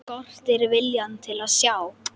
Skortir viljann til að sjá.